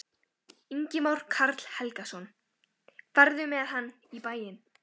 Ingimar Karl Helgason: Ferðu með hann í bæinn?